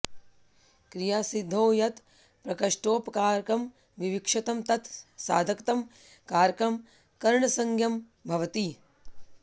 क्रियासिद्धौ यत् प्रकृष्टोपकारकं विवक्षितम् तत् साधकतमं कारकम् करणसंज्ञं भवति